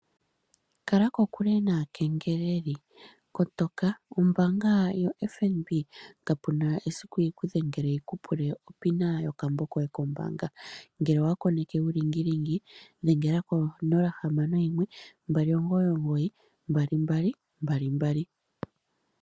Kala kokule naakengeleli, kotoka ombaanga ya FNB kapu na esiku yiku dhengele yi ku pule o pina yokambo koye kombaanga ngele owa koneke uulingilingi, dhengela ko 061299 2222.